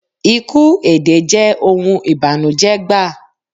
Iku èdè jẹ oun ìbànújẹ́ gbaa